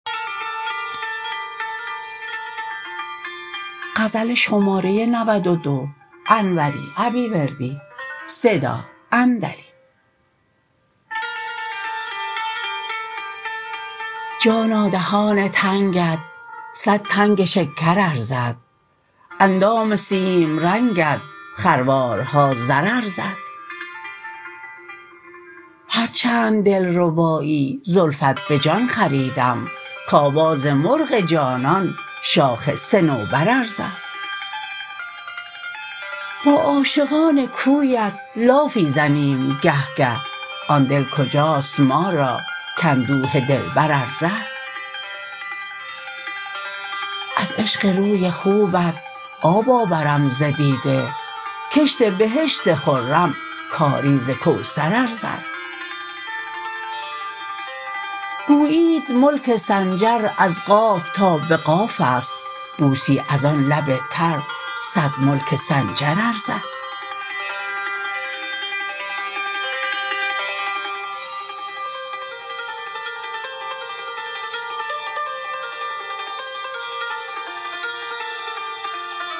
جانا دهان تنگت صد تنگ شکر ارزد اندام سیم رنگت خروار ها زر ارزد هرچند دلربایی زلفت به جان خریدم که آواز مرغ جانان شاخ صنوبر ارزد با عاشقان کویت لافی زنیم گه گه آن دل کجاست ما را که اندوه دلبر ارزد از عشق روی خوبت آب آورم ز دیده کشت بهشت خرم کاریز کوثر ارزد گویید ملک سنجر از قاف تا به قافست بوسی از آن لب تر صد ملک سنجر ارزد